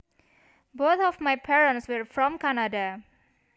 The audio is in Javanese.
Both of my parents were from Canada